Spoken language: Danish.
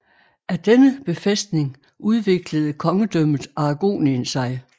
Af denne befæstning udviklede kongedømmet Aragonien sig